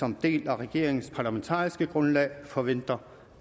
en del af regeringens parlamentariske grundlag forventer